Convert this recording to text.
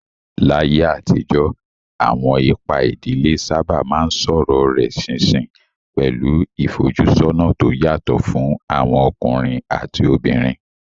Láyé àtijọ́, àwọn ipa ìdílé sábà máa ń sọ̀rọ̀ rẹ̀ ṣinṣin, pẹ̀lú ìfojúsọ́nà tó yàtọ̀ fún àwọn ọkùnrin àti obìnrin.